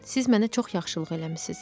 Siz mənə çox yaxşılıq eləmisiniz.